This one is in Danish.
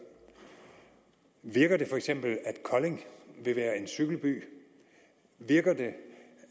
virker det feks at kolding vil være en cykelby virker det